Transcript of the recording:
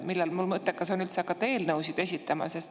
Millal on mul mõttekas hakata eelnõusid esitama?